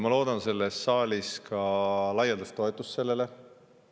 Ma loodan selles saalis laialdast toetust sellele.